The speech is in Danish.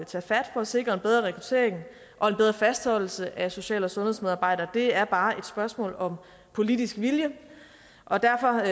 tage fat for at sikre en bedre rekruttering og en bedre fastholdelse af social og sundhedsmedarbejdere det er bare et spørgsmål om politisk vilje og derfor